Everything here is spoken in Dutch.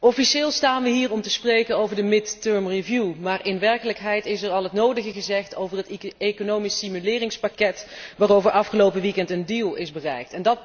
Officieel staan we hier om te spreken over de tussentijdse herziening, maar in werkelijkheid is er al het nodige gezegd over het economisch stimuleringspakket waarover afgelopen weekend een deal is bereikt.